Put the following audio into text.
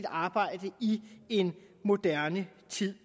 arbejde i en moderne tid